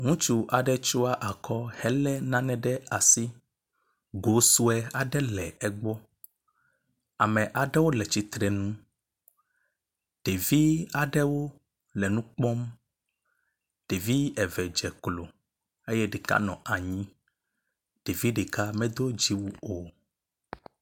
Ŋutsu aɖe tsɔ akɔ hele nane ɖe asi. Go sue aɖe le egbɔ. Ame aɖewo le titrenu. Ɖevi aɖewo le nu kpɔm. Ɖevi eve dze klo eye ɖeka nɔ anyi. Ɖevi ɖeka medo dziwui o.